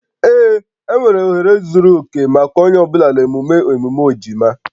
Ee, enwere ohere zuru oke maka onye ọ bụla na emume emume ejima